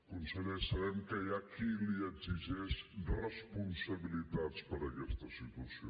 conseller sabem que hi ha qui li exigeix responsabilitats per aquesta situació